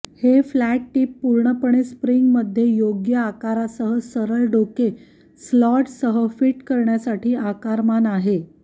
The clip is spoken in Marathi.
हे फ्लॅट टिप पूर्णपणे स्प्रिंगमध्ये योग्य आकारासह सरळ डोके स्लॉटसह फिट करण्यासाठी आकारमान आहे